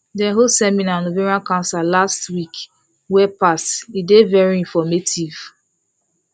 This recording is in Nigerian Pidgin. dem hold seminar on ovarian cancer last cancer last week wey pass e dey very informative